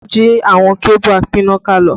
Ta ló jí àwọn kébù apínnáká lọ?